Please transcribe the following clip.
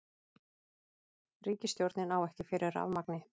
Ríkisstjórnin á ekki fyrir rafmagni